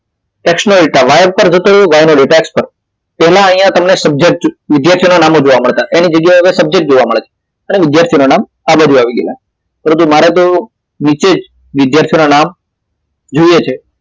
x નો data Y પર જતો રહ્યો અને વાય નો એક્સ પર તેમાં તમને અહિયાં subject વિધ્યાર્થી નું નામ જોવા મળતા એના જગ્યાએ અત્યારે subject જોવા મળે છે એટલે વિધ્યાર્થી નું નામ આ બાજુ આવી ગયું પરંતુ મારે તો નીચે જ વિધ્યાર્થી ના નામ જોવે છે